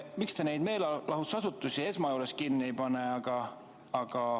Miks te neid meelelahutusasutusi esmajoones kinni ei pane?